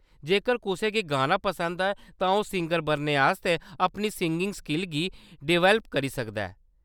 जेकर कुसै गी गाना पसंद ऐ तां ओह्‌‌ सिंगर बनने आस्तै अपनी सिंगिंग स्किल गी डेवलप करी सकदा ऐ।